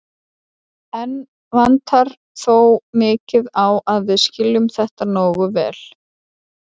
Enn vantar þó mikið á að við skiljum þetta nógu vel.